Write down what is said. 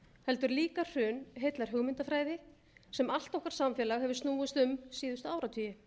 heldur líka hrun heillar hugmyndafræði sem allt okkar samfélag hefur snúist um síðustu áratugi